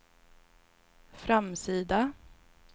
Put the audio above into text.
framsida